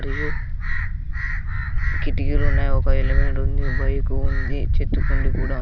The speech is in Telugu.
కిటికీ కిటికీలున్నాయి ఒక హెల్మెట్ ఉంది బైకు ఉంది చెట్టు కుండీ కూడా--